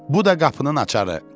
Bu da qapının açarı.